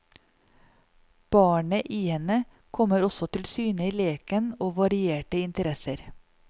Barnet i henne kommer også til syne i leken og varierte interesser.